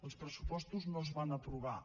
els pressupostos no es van aprovar